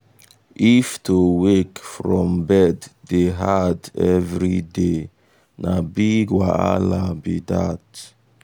if to wake from bed dey hard every day na big wahala be that.